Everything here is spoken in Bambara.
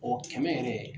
O kɛmɛ yɛrɛ